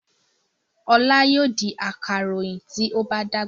Ọlá yóò di akaròyìn tí ó bá dàgbà.